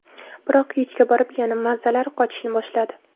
Biroq kechga borib yana mazalari qochishni boshladi.